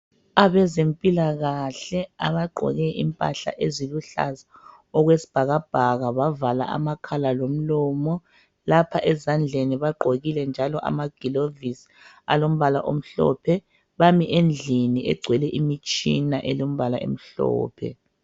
Abezempilakahle abagqoke impahla eziluhlaza okwesibhakabhaka, bavala amakhala lomlomo. Lapha ezandleni bagqokile njalo amagilovisi alombala omhlophe. Bami endlini egcwele imitshina elombala emhlophe.